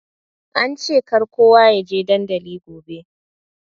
Ance kar kowa ya je dandali gobe.